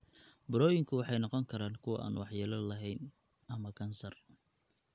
Burooyinku waxay noqon karaan kuwo aan waxyeello lahayn (benign) ama kansar (malignant).